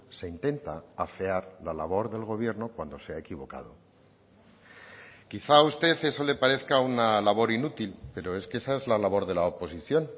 se intenta afear la labor del gobierno cuando se ha equivocado quizá a usted eso le parezca una labor inútil pero es que esa es la labor de la oposición